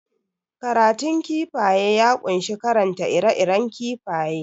Karatun kifaye ya kunshi karanta ire iren kifaye